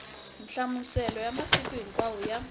nhlamuselo ya masiku hinkwawo ya